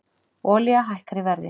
Olía hækkar í verði